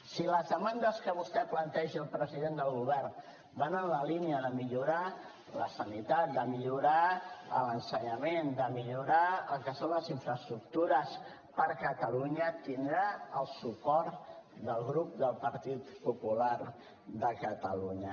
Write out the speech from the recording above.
si les demandes que vostè planteja al president del govern van en la línia de millorar la sanitat de millorar l’ensenyament de millorar el que són les infraestructures per a catalunya tindrà el suport del grup del partit popular de catalunya